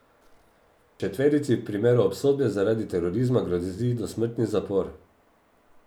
Četverici v primeru obsodbe zaradi terorizma grozi dosmrtni zapor.